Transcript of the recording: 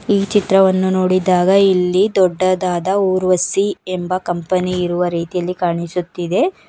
ಈ ಚಿತ್ರವನ್ನು ನೋಡಿದಾಗ ಇಲ್ಲಿ ದೊಡ್ಡದಾದ ಊರ್ವಶಿ ಎಂಬ ಕಂಪನಿ ಇರುವ ರೀತಿಯಲ್ಲಿ ಕಾಣಿಸುತ್ತಿದೆ.